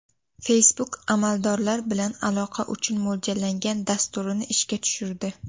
Facebook amaldorlar bilan aloqa uchun mo‘ljallangan dasturini ishga tushirdi.